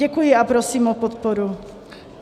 Děkuji a prosím o podporu.